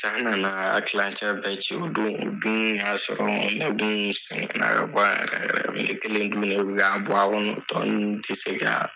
na na a tilancɛ bɛɛ ci o dun o dun y'a sɔrɔ ne dun sɛgɛn na ka ban yɛrɛ yɛrɛ de ne kelen dun kun y'a bɔ a kɔnɔ tɔ ninnu tɛ se ka